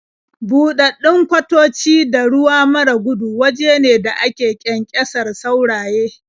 Buɗaɗɗun kwatoci da ruwa mara gudu waje ne da ake ƙyanƙyasar sauraye.